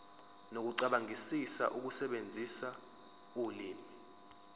nokucabangisisa ukusebenzisa ulimi